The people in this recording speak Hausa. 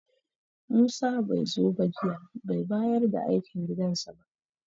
Musa bai zo ba jiya, bai bayar da aikin gidansa ba.